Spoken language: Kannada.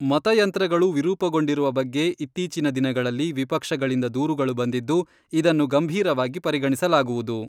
ಮತಯಂತ್ರಗಳು ವಿರೂಪಗೊಂಡಿರುವ ಬಗ್ಗೆ ಇತ್ತೀಚಿನ ದಿನಗಳಲ್ಲಿ ವಿಪಕ್ಷಗಳಿಂದ ದೂರುಗಳು ಬಂದಿದ್ದು, ಇದನ್ನು ಗಂಭೀರವಾಗಿ ಪರಿಗಣಿಸಲಾಗುವುದು.